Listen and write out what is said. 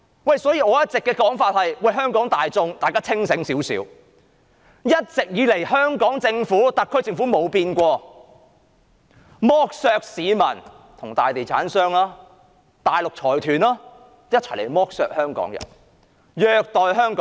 因此，我一直以來也呼籲香港大眾清醒一點，要知道香港特區政府根本從沒有改變，只會與大地產商及大陸財團一同剝削市民、虐待香港人。